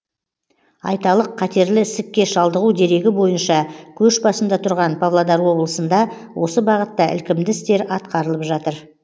айталық қатерлі ісікке шалдығу дерегі бойынша көш басында тұрған павлодар облысында осы бағытта ілкімді істер атқарылып жатыр